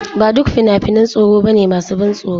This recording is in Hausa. Ba duk fina-finan tsoro ba ne masu ban tsoro.